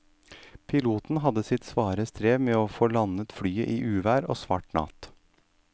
Piloten hadde sitt svare strev med å få landet flyet i uvær og svart natt.